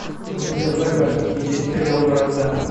у тебя в загашнике есть сериал вражда